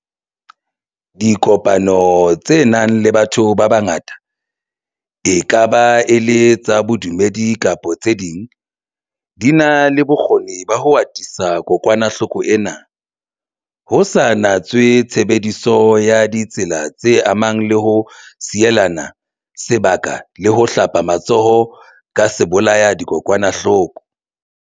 Dipokano tse nang le batho ba bangata, e ka ba e le tsa bodumedi kapa tse ding, di na le bokgoni ba ho atisa kokwanahloko ena, ho sa natswe tshebediso ya ditsela tse amanang le ho sielana se baka le ho hlapa matsoho ka sebolaya-dikokwanahloko.